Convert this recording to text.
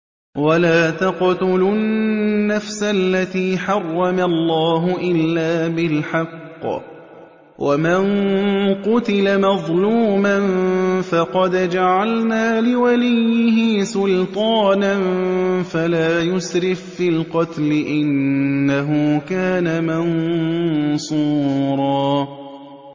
وَلَا تَقْتُلُوا النَّفْسَ الَّتِي حَرَّمَ اللَّهُ إِلَّا بِالْحَقِّ ۗ وَمَن قُتِلَ مَظْلُومًا فَقَدْ جَعَلْنَا لِوَلِيِّهِ سُلْطَانًا فَلَا يُسْرِف فِّي الْقَتْلِ ۖ إِنَّهُ كَانَ مَنصُورًا